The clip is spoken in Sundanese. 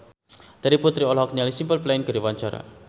Terry Putri olohok ningali Simple Plan keur diwawancara